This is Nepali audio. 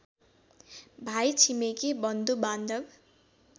भाइ छिमेकी बन्धुबान्धव